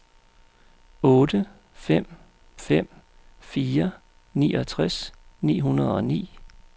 otte fem fem fire niogtres ni hundrede og ni